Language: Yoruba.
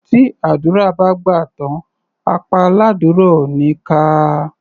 Tí àdúrà bá gbà tán, apá aládúrà ò ní ká a.